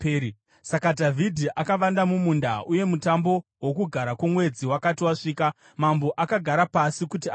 Saka Dhavhidhi akavanda mumunda, uye mutambo woKugara kwoMwedzi wakati wasvika, mambo akagara pasi kuti adye.